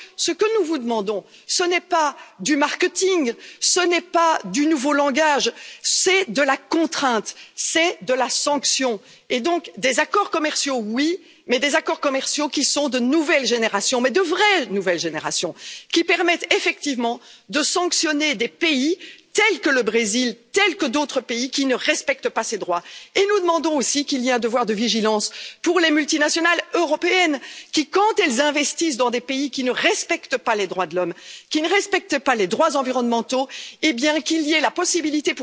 Donc, ce que nous vous demandons, ce n'est pas du marketing, ce n'est pas du nouveau langage, c'est de la contrainte, c'est de la sanction et donc des accords commerciaux, oui, mais des accords commerciaux, qui sont de nouvelle génération mais de vraie nouvelle génération, qui permettent effectivement de sanctionner des pays, tels que le Brésil, tels que d'autres pays, qui ne respectent pas ces droits et nous demandons aussi qu'il y ait un devoir de vigilance pour les multinationales européennes et que, quand elles investissent dans des pays qui ne respectent pas les droits de l'homme, qui ne respectent pas les droits environnementaux, les victimes, où qu'elles soient, aient la possibilité